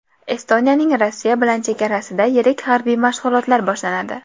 Estoniyaning Rossiya bilan chegarasida yirik harbiy mashg‘ulotlar boshlanadi.